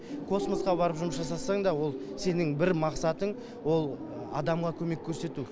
космосқа барып жұмыс жасасаң да ол сенің бір мақсатың ол адамға көмек көрсету